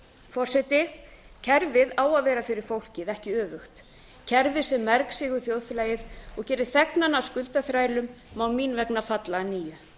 forseti kerfið á að vera fyrir fólk en ekki öfugt kerfi sem mergsýgur þjóðfélagið og gerir þegnana að skuldaþrælum má mín vegna falla að nýju